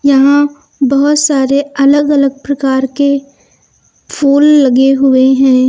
यहां बहोत सारे अलग अलग प्रकार के फूल लगे हुए हैं।